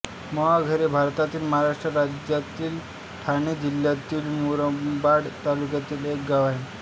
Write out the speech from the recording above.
मोहाघर हे भारतातील महाराष्ट्र राज्यातील ठाणे जिल्ह्यातील मुरबाड तालुक्यातील एक गाव आहे